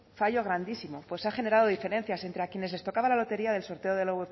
fallo grandísimo pues se han generado diferencias entre a quienes les tocaba la lotería del sorteo de la